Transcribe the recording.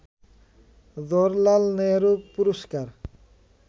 জওহরলাল নেহেরু পুরস্কার